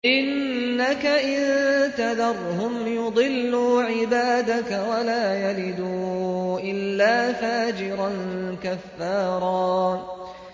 إِنَّكَ إِن تَذَرْهُمْ يُضِلُّوا عِبَادَكَ وَلَا يَلِدُوا إِلَّا فَاجِرًا كَفَّارًا